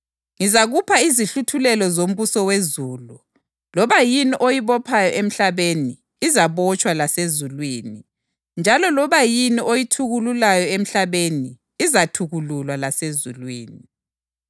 Waseqonqosela abafundi bakhe ukuba bangatsheli muntu ukuthi wayenguKhristu. UJesu Ukhuluma Ngokufa Kwakhe